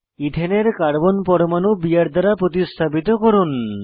ইথেনের কার্বন পরমাণু বিআর দ্বারা প্রতিস্থাপিত করুন